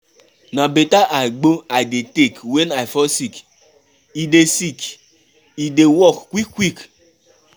Na beta agbo I dey take wen I fall sick. E dey sick e dey work quick quick.